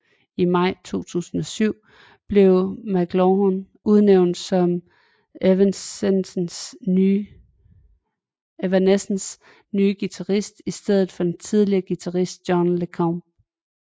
I maj 2007 blev McLawhorn udnævnt som Evanescences nye guitarist i stedet for den tidligere guitarist John LeCompt